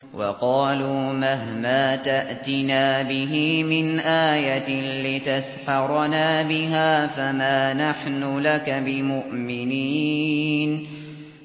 وَقَالُوا مَهْمَا تَأْتِنَا بِهِ مِنْ آيَةٍ لِّتَسْحَرَنَا بِهَا فَمَا نَحْنُ لَكَ بِمُؤْمِنِينَ